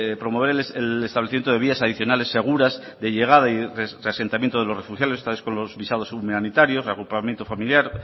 promover el establecimiento de vías adicionales seguras de llegada y de reasentamiento de los refugiados visados humanitarios reagrupamiento familiar